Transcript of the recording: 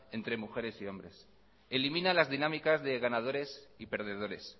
entre mujeres y hombres elimina las dinámicas de ganadores y perdedores